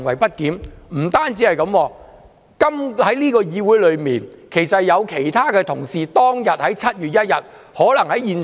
不單如此，在這個議會內，其實有其他同事當天也可能在現場。